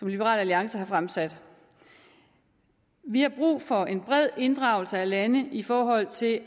liberal alliance har fremsat vi har brug for en bred inddragelse af lande i forhold til at